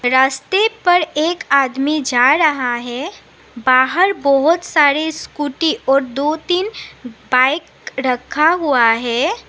रास्ते पर एक आदमी जा रहा है बाहर बहोत सारे स्कूटी और दो तीन बाइक रखा हुआ है।